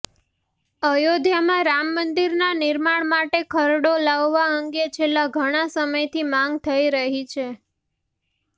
અયોધ્યામાં રામમંદિરના નિર્માણ માટે ખરડો લાવવા અંગે છેલ્લા ઘણા સમયથી માંગ થઈ રહી છે